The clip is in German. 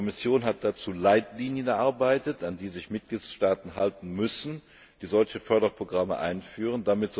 Die Kommission hat dazu Leitlinien erarbeitet, an die sich die Mitgliedstaaten halten müssen, die solche Förderprogramme einführen.